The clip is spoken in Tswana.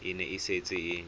e ne e setse e